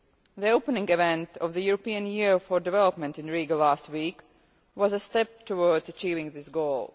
The opening event of the European Year for Development in Riga last week was a step towards achieving this goal.